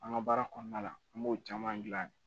An ka baara kɔnɔna la an b'o caman gilan